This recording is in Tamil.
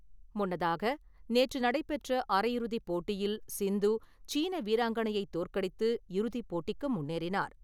முன்னதாக, நேற்று நடைபெற்ற அரையிறுதிப் போட்டியில் சிந்து, சீன வீராங்கணையைத் தோற்கடித்து இறுதிப்போட்டிக்கு முன்னேறினார்.